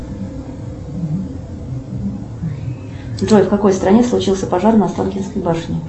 джой в какой стране случился пожар на останкинской башне